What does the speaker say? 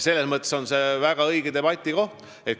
Selles mõttes on see väga õige debatt.